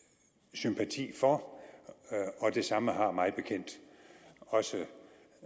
sympati for og det samme har mig bekendt også